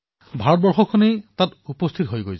এইদৰে তাত এখন ক্ষুদ্ৰ ভাৰতৰ সৃষ্টি হয়